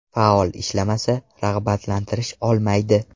Faol ishlamasa, rag‘batlantirish olmaydi.